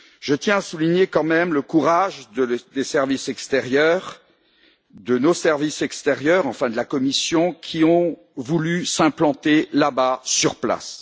Je tiens à souligner tout de même le courage des services extérieurs, de nos services extérieurs, notamment de la Commission, qui ont voulu s'implanter là bas, sur place.